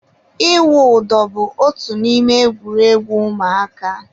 ịwụ ụdọ bu otu n'ime egwuregwu ụmụaka.